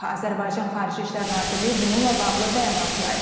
Azərbaycan Xarici İşlər Nazirliyi bununla bağlı bəyanat yayıb.